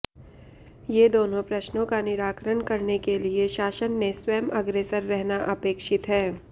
ये दोनों प्रश्नों का निराकरण करने के लिए शासन ने स्वयं अग्रेसर रहना अपेक्षित है